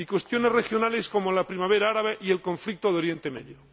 y cuestiones regionales, como la Primavera Árabe y el conflicto de Oriente Medio.